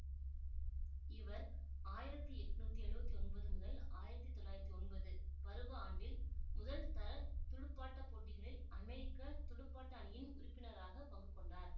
இவர் ஆயிரத்தி எட்ணூத்தி எழுவத்தி ஒன்பது முதல் ஆயிரத்தி தொள்ளாயிரத்தி ஒன்பது பருவ ஆண்டில் முதல்தர துடுப்பாட்ட போட்டிகளில் அமெரிக்க துடுப்பாட்ட அணியின் உறுப்பினராக பங்குகொண்டார்